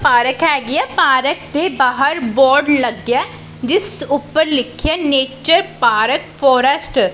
Park ਹੈਗੀ ਆ park ਦੇ ਬਾਹਰ ਬੋਰਡ ਲੱਗਿਆ ਜਿਸ ਉਪਰ ਲਿਖਿਆ ਨੇਚਰ ਪਾਰਕ ਫੋਰਸਟ ।